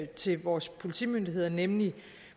til vores politimyndigheder nemlig